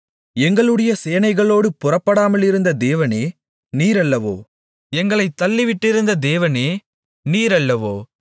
எங்களுடைய சேனைகளோடு புறப்படாமலிருந்த தேவனே நீரல்லவோ எங்களைத் தள்ளிவிட்டிருந்த தேவனே நீரல்லவோ